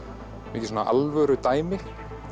mikið svona alvörudæmi